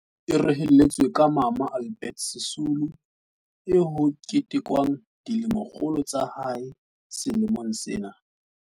E rehelletswe ka Mama Albe rtina Sisulu eo ho ketekwang dilemokgolo tsa hae sele mong sena.